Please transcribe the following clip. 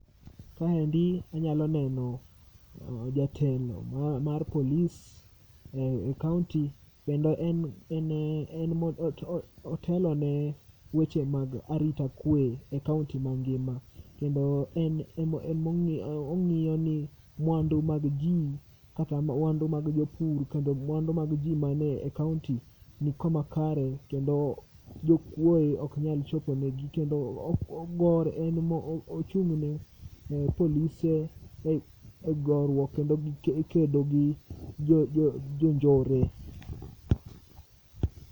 Kaendi anyalo neno jatelo mar polie e kaunti kendo en ema otelone weche mag arita kwee e kaunti ma ngima kendo en mongiyo, ongiyo ni mwandu mag jii kata mwandu mag jopur kendo mwandu mag jii mane kaunti nikama kare kendo jokuoe ok nyal choponegi kendo ogore, en ema ochungne polise e goruok kod kedogi jonjore